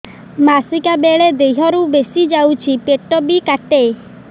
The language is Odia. ମାସିକା ବେଳେ ଦିହରୁ ବେଶି ଯାଉଛି ପେଟ ବି କାଟେ